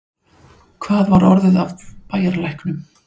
Hvað var orðið af bæjarlæknum?